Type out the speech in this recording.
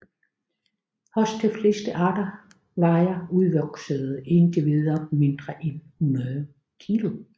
Hos de fleste arter vejer udvoksede individer mindre end 100 kg